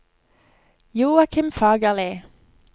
Joakim Fagerli